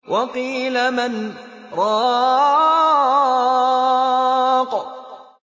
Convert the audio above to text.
وَقِيلَ مَنْ ۜ رَاقٍ